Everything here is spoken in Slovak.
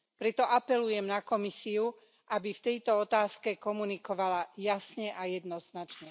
Preto apelujem na Komisiu, aby v tejto otázke komunikovala jasne a jednoznačne.